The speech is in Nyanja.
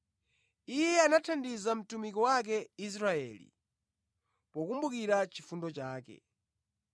Iye anathandiza mtumiki wake Israeli, pokumbukira chifundo chake.